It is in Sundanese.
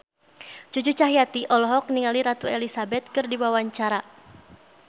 Cucu Cahyati olohok ningali Ratu Elizabeth keur diwawancara